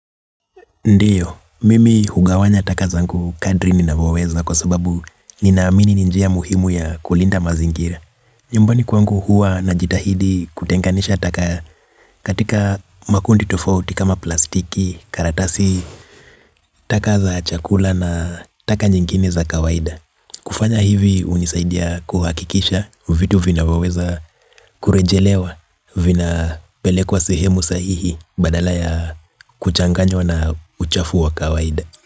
Ndiyo, mimi hugawanya taka zangu kadri ninavyoweza kwa sababu ninaamini ni njia muhimu ya kulinda mazingira. Nyumbani kwangu huwa na jitahidi kutenganisha taka katika makundi tofauti kama plastiki, karatasi, taka za chakula na taka nyingine za kawaida. Kufanya hivi unisaidia kuhakikisha vitu vinavyoweza kurejelewa vinapelekwa sehemu sahihi badala ya kuchanganywa na uchafu wa kawaida.